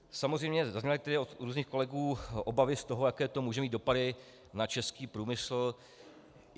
Samozřejmě, zaznívaly tady od různých kolegů obavy z toho, jaké to může mít dopady na český průmysl.